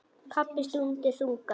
Pabbi stundi þungan.